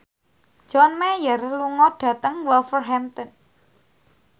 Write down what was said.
John Mayer lunga dhateng Wolverhampton